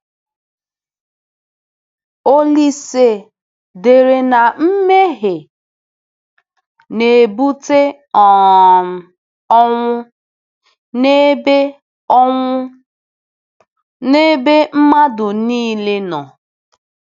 Olise dere na mmehie na-ebute um ọnwụ “n’ebe ọnwụ “n’ebe mmadụ nile nọ.”